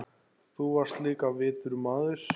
Þú varst líka vitur maður.